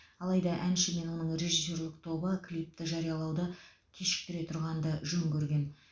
алайда әнші мен оның режиссерлік тобы клипті жариялауды кешіктіре тұрғанды жөн көрген